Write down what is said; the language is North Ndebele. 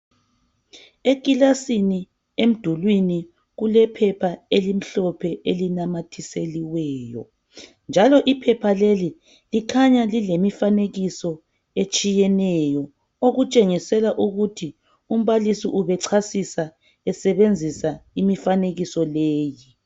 Eklasini emdulwini kulephepha elimhlophe elinamathiselweyo njalo iphepha leli kukhanya lilemifanekiso etshiyeneyo okutshengisela ukuthi umbalisi ubechasisa esebenzisa imifanekiso leyi